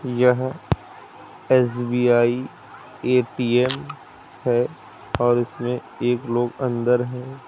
यह SBI ATM है और इसमें एक लोग अंदर है।